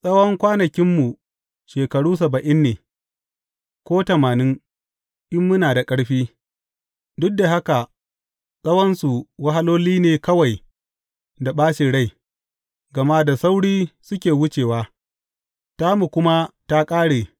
Tsawon kwanakinmu shekaru saba’in ne, ko tamanin, in muna da ƙarfi; duk da haka tsawonsu wahaloli ne kawai da ɓacin rai, gama da sauri suke wucewa, ta mu kuma ta ƙare.